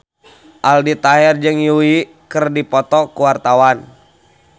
Aldi Taher jeung Yui keur dipoto ku wartawan